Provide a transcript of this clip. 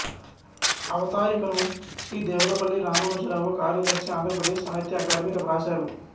అవతారికను శ్రీ దేవులపల్లి రామానుజరావు కార్యదర్శిఆంధ్రప్రదేశ్ సాహిత్య అకాడమి వ్రాశారు